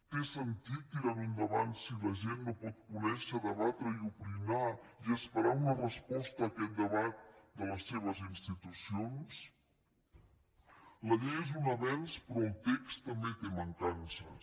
té sentit tirarho endavant si la gent no pot conèixer debatre i opinar i esperar una resposta a aquest debat de les seves institucions la llei és un avenç però el text també té mancances